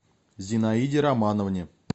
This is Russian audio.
зинаиде романовне